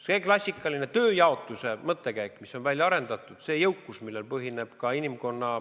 See klassikaline tööjaotus, mis on välja arendatud, see jõukus, millel põhineb ka inimkonna